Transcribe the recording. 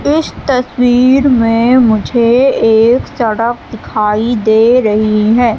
इस तस्वीर में मुझे एक सड़क दिखाई दे रही है।